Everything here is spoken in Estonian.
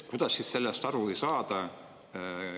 Kuidas siis sellest aru ei saada?